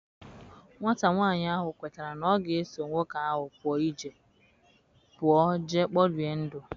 Nwata nwanyị ahụ kwetara na ọ ga eso nwoke ahụ pụọ jee kporie ndụ.